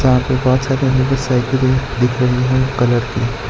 यहां पे बहुत सारी मुझे साइकिलें दिख रही है कलर की।